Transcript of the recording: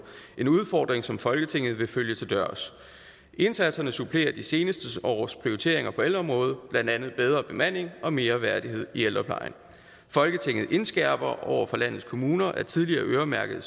en udfordring som folketinget vil følge til dørs indsatserne supplerer de seneste års prioriteringer på ældreområdet blandt andet bedre bemanding og mere værdighed i ældreplejen folketinget indskærper overfor landets kommuner at tidligere øremærkede